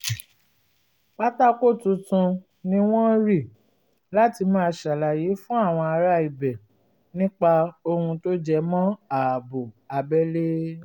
pátákó tuntun ni wọ́n rì láti máa ṣàlàyé fún àwọn ará ibẹ̀ nípa ohun tó jẹ mọ́ ààbò abẹ́lé